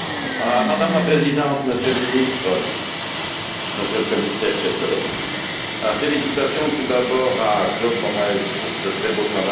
Madame la Présidente, Monsieur le Ministre, Monsieur le Commissaire, chers collègues, félicitations tout d'abord à Claude Moraes pour ce très beau travail.